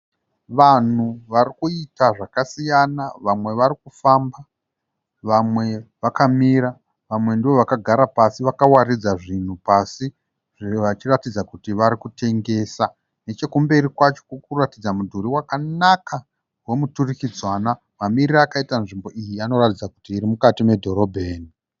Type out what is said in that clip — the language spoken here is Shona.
Vanhu varikuita zvakasiyana, vamwe varikufamba vamwe vakamira . Vamwe ndovakagara pasi vakawaridza zvinhu pasi zve varikuratidza kuti varikutengesa. Nechekumberi kwacho kurikuratidza mudhuri wakanaka wemuturikidzanwa. Mamiriro akaita nzvimbo iyi anoratidza kuti irimukati medhorobheni.